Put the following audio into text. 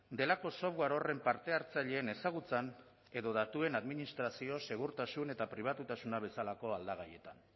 delako software horren parte hartzaileen ezagutzan edo datuen administrazio segurtasun eta pribatutasuna bezalako aldagaietan